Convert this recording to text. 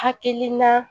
Hakilina